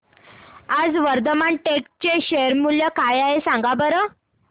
आज वर्धमान टेक्स्ट चे शेअर मूल्य काय आहे सांगा बरं